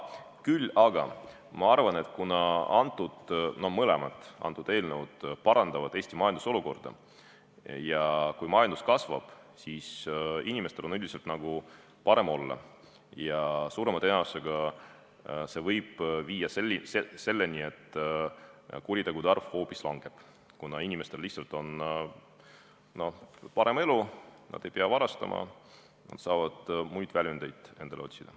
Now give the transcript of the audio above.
Küll aga arvan, et kuna mõlemad eelnõud parandavad Eesti majandusolukorda ja kui majandus kasvab, siis inimestel on üldiselt nagu parem olla ja see võib suurema tõenäosusega viia selleni, et kuritegude arv hoopis langeb, kuna inimestel lihtsalt on parem elu, nad ei pea varastama, nad saavad muid väljundeid endale otsida.